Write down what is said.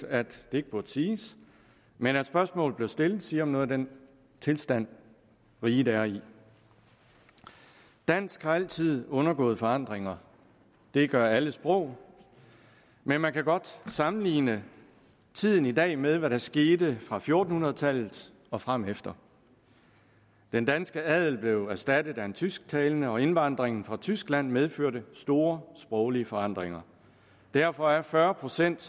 at det ikke burde siges men at spørgsmålet bliver stillet siger noget om den tilstand riget er i dansk har altid undergået forandringer det gør alle sprog men man kan godt sammenligne tiden i dag med hvad der skete fra fjorten hundrede tallet og fremefter den danske adel blev erstattet af en tysktalende og indvandringen fra tyskland medførte store sproglige forandringer derfor er fyrre procent